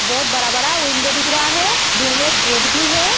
बहुत बड़ा-बड़ा विंडो दिख रहा हैं में एक गेट भी है।